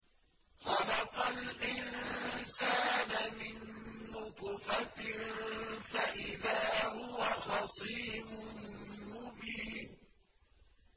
خَلَقَ الْإِنسَانَ مِن نُّطْفَةٍ فَإِذَا هُوَ خَصِيمٌ مُّبِينٌ